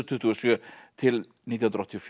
tuttugu og sjö til nítján hundruð áttatíu